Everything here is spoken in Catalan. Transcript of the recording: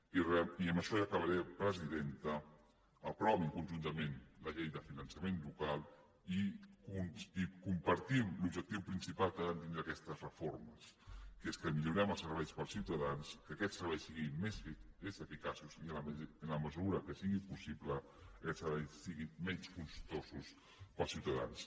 i amb això ja acabaré presidenta aprovin conjuntament la llei de finançament local i compartim l’objectiu principal que han de tindre aquestes reformes que és que millorem els serveis per als ciutadans que aquests serveis siguin més eficaços i en la mesura que sigui possible que aquests serveis siguin menys costos per als ciutadans